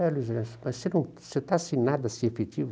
É, Luiz Ernesto, mas você não, você está sem nada efetivo?